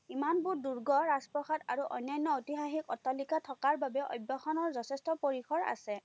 ইমানবোৰ দূৰ্গ, ৰাজ-প্ৰসাদ আৰু অন্যান্য ঐতিহাসীক অট্টালিকা থকাৰ বাবে যথেষ্ট পৰিসৰ আছে।